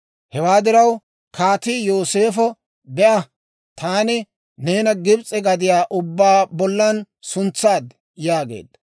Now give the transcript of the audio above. Hewaa diraw kaatii Yooseefo, «Be'a; taani neena Gibs'e gadiyaa ubbaa bollan suntsaad» yaageedda.